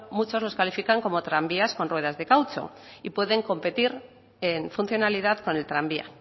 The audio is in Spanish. muchos los califican como tranvías con ruedas de caucho y pueden competir en funcionalidad con el tranvía